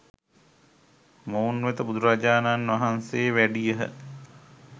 මොවුන් වෙත බුදුරජාණන් වහන්සේ වැඩියහ.